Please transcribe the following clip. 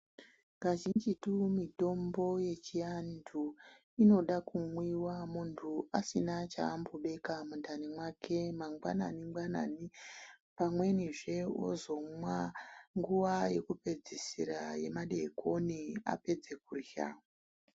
Kazhinjitu mithombo yechianthu inoda kumwiwa munthu asina chaambobeka mundani mwake mangwanan ingwanani, pamwenizve ozomwa nguwa yekupedzisira yemadeekoni apedze kurya.